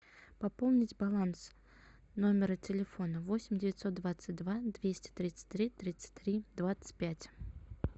пополнить баланс номера телефона восемь девятьсот двадцать два двести тридцать три тридцать три двадцать пять